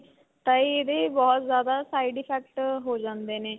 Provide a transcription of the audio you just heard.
ਤਾਂ ਇਹਦੇ ਬਹੁਤ ਜਿਆਦਾ side effect ਹੋ ਜਾਂਦੇ ਨੇ